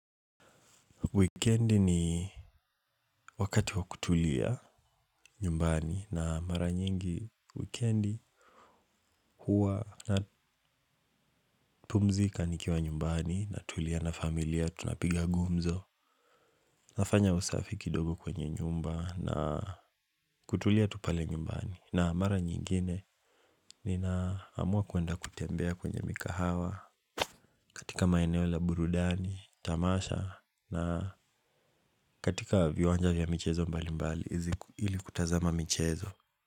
Wikendi ni wakati wa kutulia nyumbani na mara nyingi wikendi huwa napumzika nikiwa nyumbani natulia na familia tunapiga gumzo. Nafanya usafi kidogo kwenye nyumba na kutulia tu pale nyumbani. Na mara nyingine ninaamua kuenda kutembea kwenye mikahawa katika maeneo la burudani, tamasha na katika viwanja vya michezo mbali mbali ili kutazama michezo.